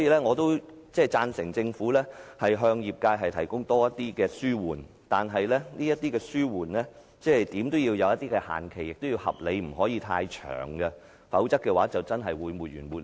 我贊成政府向業界提供更多紓緩措施，但這些紓緩措施怎樣也要設定限期，亦要合理，不能太長，否則，便真的會沒完沒了。